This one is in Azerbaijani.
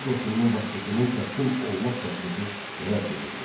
Çar qoşununun başçısının təslim olmaq təklifi rədd edildi.